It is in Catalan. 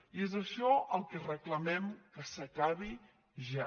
i és això el que reclamem que s’acabi ja